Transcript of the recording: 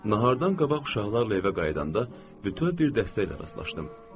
Nahardan qabaq uşaqlarla evə qayıdanda bütöv bir dəstə ilə rastlaşdım.